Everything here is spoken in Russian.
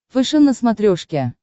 фэшен на смотрешке